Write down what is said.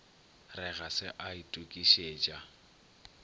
re ga se a itokišetša